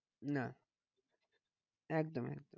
না একদম একদম